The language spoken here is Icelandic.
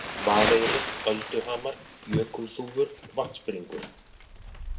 Vaðeyri, Ölduhamar, Jökulþúfur, Vatnsbringur